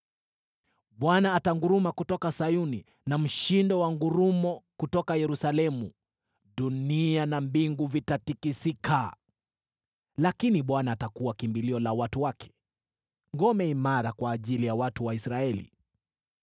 Bwana atanguruma kutoka Sayuni na mshindo wa ngurumo kutoka Yerusalemu; dunia na mbingu vitatikisika. Lakini Bwana atakuwa kimbilio la watu wake, ngome imara kwa ajili ya watu wa Israeli.